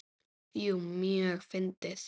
Jú, mjög fyndið.